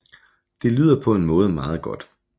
Det lyder på en måde meget godt